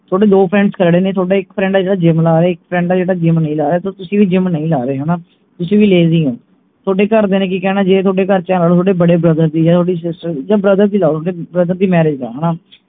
ਥੋਡੇ ਦੋ friends ਖੜੇ ਨੇ ਥੋਡਾ ਇਕ friend ਹੈ ਜਿਹੜਾ gym ਲਾ ਰਿਹੇ ਇਕ friend ਹੈ ਜਿਹੜਾ gym ਨਹੀਂ ਲਾ ਰਿਹਾ ਤੇ ਤੁਸੀਂ ਵੀ gym ਨਹੀਂ ਲਾ ਰਹੇ ਹਣਾ ਤੁਸੀਂ ਵੀ lazy ਹੋ ਥੋਡੇ ਘਰ ਦੀਆਂ ਨੇ ਕਿ ਕਹਿਣਾ ਜੇ ਥੋਡੇ ਘਰ ਚ ਬੜੇ brother ਦੀ ਜਾ ਥੋਡੀ sister ਦੀ ਜਾ brother ਦੀ ਲਾ ਲਓ ਥੋਡੇ brother ਦੀ marriage ਹੈ ਹਣਾ